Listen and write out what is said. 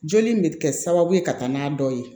Joli in bɛ kɛ sababu ye ka taa n'a dɔ ye